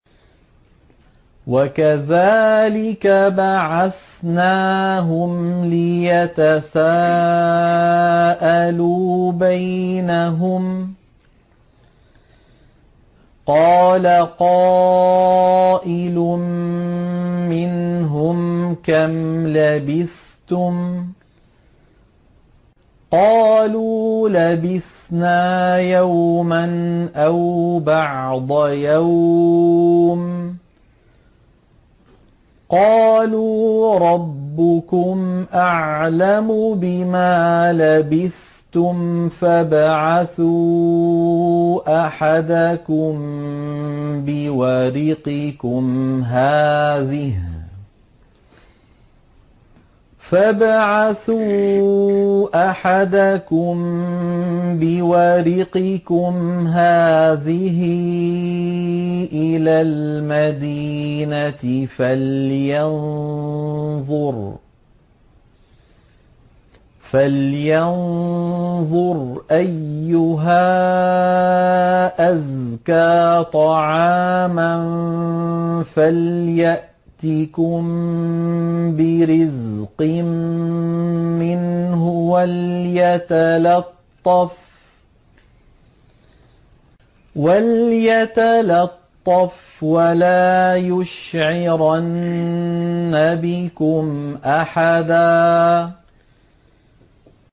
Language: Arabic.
وَكَذَٰلِكَ بَعَثْنَاهُمْ لِيَتَسَاءَلُوا بَيْنَهُمْ ۚ قَالَ قَائِلٌ مِّنْهُمْ كَمْ لَبِثْتُمْ ۖ قَالُوا لَبِثْنَا يَوْمًا أَوْ بَعْضَ يَوْمٍ ۚ قَالُوا رَبُّكُمْ أَعْلَمُ بِمَا لَبِثْتُمْ فَابْعَثُوا أَحَدَكُم بِوَرِقِكُمْ هَٰذِهِ إِلَى الْمَدِينَةِ فَلْيَنظُرْ أَيُّهَا أَزْكَىٰ طَعَامًا فَلْيَأْتِكُم بِرِزْقٍ مِّنْهُ وَلْيَتَلَطَّفْ وَلَا يُشْعِرَنَّ بِكُمْ أَحَدًا